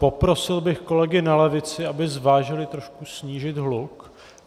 Poprosil bych kolegy na levici, aby zvážili trošku snížit hluk.